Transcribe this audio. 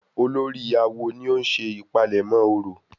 Olórí awo ni ó ń ṣe ìpalẹ̀mọ́ orò?